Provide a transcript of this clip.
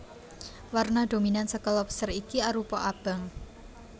Warna dominan saka lobster iki arupa abang